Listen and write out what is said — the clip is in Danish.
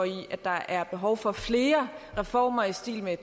i at der er behov for flere reformer i stil med